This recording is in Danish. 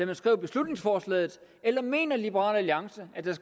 man skrev beslutningsforslaget eller mener liberal alliance at der